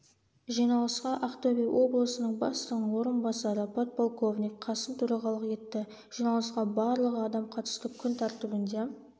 жиналысқа ақтөбе облысының бастығының орынбасары подполковник қасым төрағалық етті жиналысқа барлығы адам қатысты күн тәртібінде